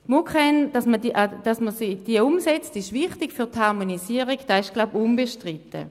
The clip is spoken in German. Für die Harmonisierung ist es wichtig und wohl unbestritten, dass man die MuKEn umsetzt.